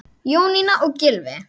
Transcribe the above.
Jónína og Gylfi.